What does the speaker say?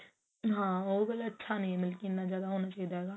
ਹਾਂ ਉਹ ਵਾਲਾ ਨੀ ਇੰਨਾ ਜਿਆਦਾ ਅੱਛਾ ਹੋਣਾ ਚਾਹੀਦਾ